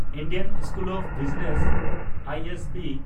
Indian School of Business (I S B)